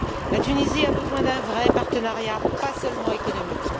La Tunisie a besoin d'un vrai partenariat, pas seulement économique.